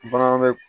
Bagan bɛ